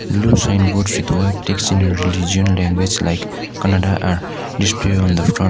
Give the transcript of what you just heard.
blue sign board text in a regional language like kannada display on the front.